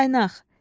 Qaynaq.